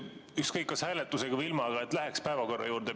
Ükskõik, kas hääletusega või ilma, aga läheks päevakorra juurde.